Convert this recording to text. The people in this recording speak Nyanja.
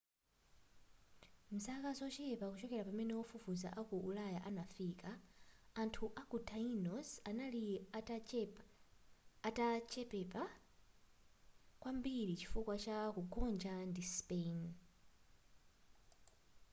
m'zaka zochepa kuchokera pamene ofufuza aku ulaya anafika anthu a ku tainos anali atachepepa kwambiri chifukwa cha kugonja ndi spain